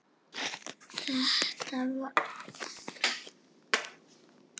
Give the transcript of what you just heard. Þetta var alveg magnað!